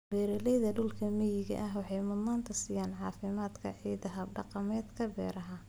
Beeralayda dhulka miyiga ah waxay mudnaanta siiyaan caafimaadka ciidda hab-dhaqameedka beeraha.